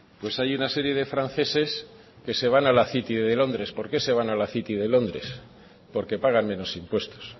pues hay una serie de franceses que se van a la city de londres por qué se van a la city de londres porque pagan menos impuestos